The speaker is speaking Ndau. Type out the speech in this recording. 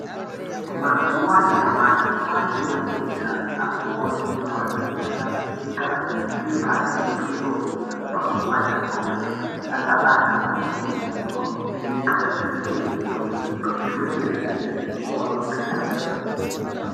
Mazuva anyamashi kwane matenda ano konzerwa nekusa pfeka bepa re butiro panguva dzebonde saka andu ano kurudzirwa kupfeka kuzvi chengetedza kuzvi rwere zvakaira se mu kondombera.